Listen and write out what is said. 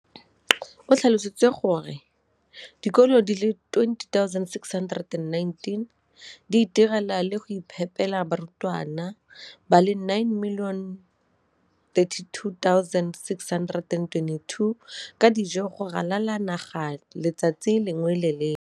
o tlhalositse gore dikolo di le 20 619 di itirela le go iphepela barutwana ba le 9 032 622 ka dijo go ralala naga letsatsi le lengwe le le lengwe.